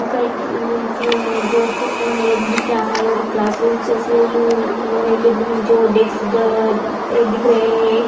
School का है दिख रहा है और क्लास रूम उसमे उम-लोहे के उम-जो डेस्क ब दिख रहे हैं।